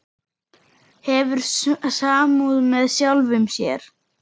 Hefur samúð með sjálfum sér.